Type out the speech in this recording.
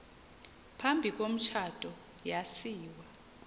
phambi komtshato yasiwa